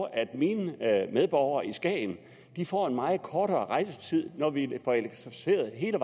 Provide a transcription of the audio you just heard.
at mine medborgere i skagen får en meget kortere rejsetid når vi får elektrificeret hele